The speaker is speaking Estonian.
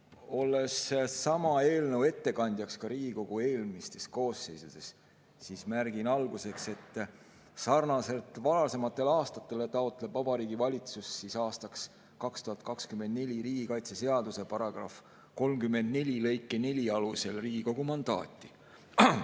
Olles olnud sama eelnõu ettekandjaks ka Riigikogu eelmistes koosseisudes, märgin alustuseks, et sarnaselt varasemate aastatega taotleb Vabariigi Valitsus aastaks 2024 riigikaitseseaduse § 34 lõike 4 alusel Riigikogu mandaati.